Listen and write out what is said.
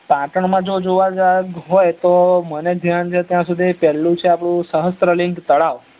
પાટણ માં જો જોવાલાયક હોય તો મને ધ્યાન છે ત્યાં સુધી પેલ્લું છે આપડું શાસ્ત્રલીગ તળાવ